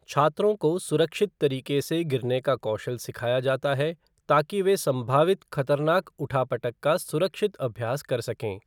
छात्रों को सुरक्षित तरीके से गिरने का कौशल सिखाया जाता है ताकि वे सम्भावित खतरनाक उठा पटक का सुरक्षित अभ्यास कर सकें।